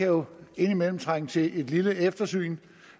jo indimellem trænge til et lille eftersyn